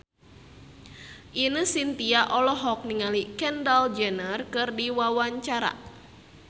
Ine Shintya olohok ningali Kendall Jenner keur diwawancara